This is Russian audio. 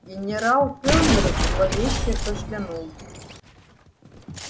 генерал кэллнер зловеще кашлянул